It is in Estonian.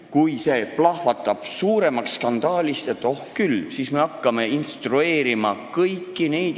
Kui see plahvatab suuremaks skandaaliks, et oh küll, kas me siis hakkame kõiki selliseid inimesi instrueerima?